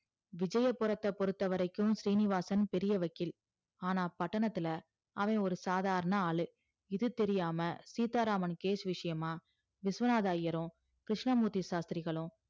விஜயபுரத்த பொருத்தவரைக்கும் சீனிவாசன் பெரிய வக்கில் ஆனா பட்டணத்துல அவ ஒரு சாதாரண ஆளு இது தெரியாம சீத்தா ராமன் case விஷயமா விஸ்வநாத ஐயரும் கிருஷ்ணமூர்த்தி ஷாஷ்திரிகலு